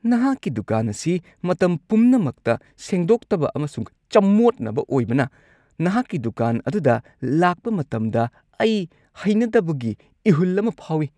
ꯅꯍꯥꯛꯀꯤ ꯗꯨꯀꯥꯟ ꯑꯁꯤ ꯃꯇꯝ ꯄꯨꯝꯅꯃꯛꯇ ꯁꯦꯡꯗꯣꯛꯇꯕ ꯑꯃꯁꯨꯡ ꯆꯃꯣꯠꯅꯕ ꯑꯣꯏꯕꯅ ꯅꯍꯥꯛꯀꯤ ꯗꯨꯀꯥꯟ ꯑꯗꯨꯗ ꯂꯥꯛꯄ ꯃꯇꯝꯗ ꯑꯩ ꯍꯩꯅꯗꯕꯒꯤ ꯏꯍꯨꯜ ꯑꯃ ꯐꯥꯎꯏ ꯫